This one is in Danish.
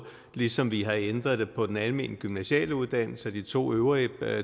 ligesom vi har ændret det på den almene gymnasiale uddannelse og de to øvrige